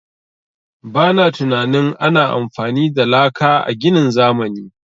Ba na tunanin ana amfani da laka a ginin zamani.